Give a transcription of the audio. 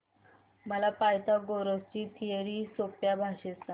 मला पायथागोरस ची थिअरी सोप्या भाषेत सांग